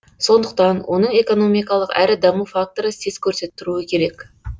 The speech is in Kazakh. сондықтан оның экономикалық әрі даму факторы сес көрсетіп тұруы керек